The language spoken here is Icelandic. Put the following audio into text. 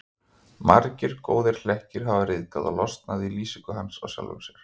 Margir góðir hlekkir hafa ryðgað og losnað í lýsingu hans á sjálfum sér.